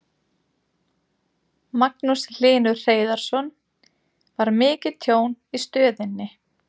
Magnús Hlynur Hreiðarsson: Var mikið tjón í stöðinni?